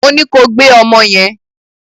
Mo ní pé kó gbé ọmọ yẹn!